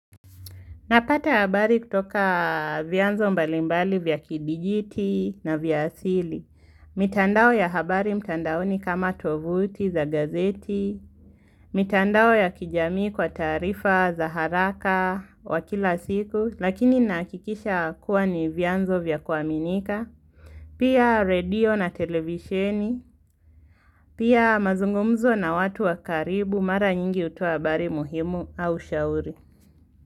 Napata habari kutoka vianzo mbalimbali vya kidijiti na vya asili. Mitandao ya habari mtandaoni kama tovuti za gazeti. Mitandao ya kijamii kwa tarifa za haraka wa kila siku. Lakini nakikisha kuwa ni vianzo vya kuaminika. Pia radio na televisheni. Pia mazungumzo na watu wakaribu mara nyingi utuwa habari muhimu au shauri.